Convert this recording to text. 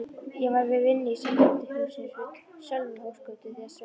Ég var við vinnu í Sambandshúsinu við Sölvhólsgötu þegar Sveinn